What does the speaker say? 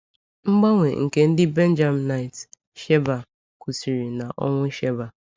Mgbanwe nke ndị Benjaminite Sheba kwụsịrị na ọnwụ Sheba.